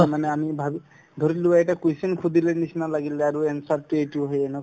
মানে আমি ভাবি ধৰিলোৱা এটা question সুধিলেৰ নিচিনা লাগিল আৰু answer তো এইটো হয়ে না